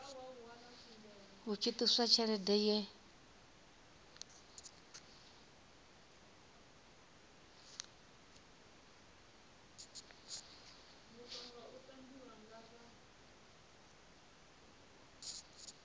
hu tshi ṱuswa tshelede ye